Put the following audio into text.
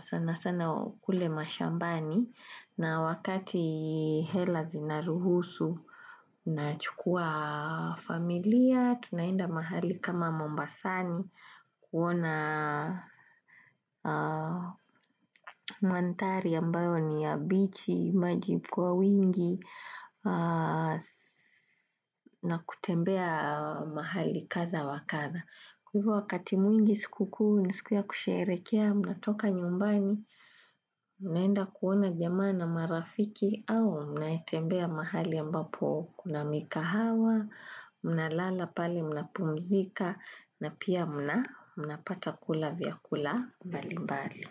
Sana sana kule mashambani. Na wakati hela zinaruhusu, na chukua familia, tunaenda mahali kama mombasani, kuona mandhari ambayo ni ya bichi, maji kwa wingi, na kutembea mahali kadha wa kadha. Kwa hivo wakati mwingi siku kuu, ni siku ya kusherehekea, mnatoka nyumbani, mnaenda kuona jamaa na marafiki au mnatembea mahali ambapo kuna mikahawa, mnalala pale mnapumzika na pia mna, mnapata kula vyakula mbalimbali.